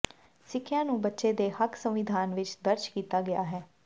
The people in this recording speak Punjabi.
ਸਿੱਖਿਆ ਨੂੰ ਬੱਚੇ ਦੇ ਹੱਕ ਸੰਵਿਧਾਨ ਵਿਚ ਦਰਜ ਕੀਤਾ ਗਿਆ ਹੈ